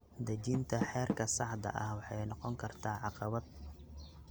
Dejinta heerka saxda ah waxay noqon kartaa caqabad.